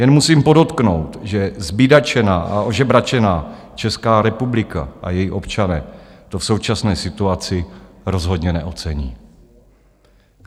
Jen musím podotknout, že zbídačená a ožebračená Česká republika a její občané to v současné situaci rozhodně neocení.